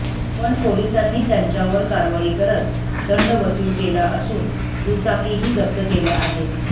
पण पोलिसांनी त्यांच्यावर कारवाई करत दंड वसूल केला असून दुचाकीही जप्त केल्या आहेत